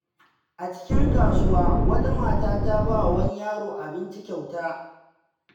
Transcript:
A cikin kasuwa, wata mata ta ba wa wani yaro abinci kyauta.